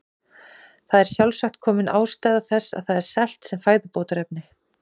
Þar er sjálfsagt komin ástæða þess að það er selt sem fæðubótarefni.